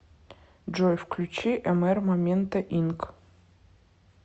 джой включи мр момента инк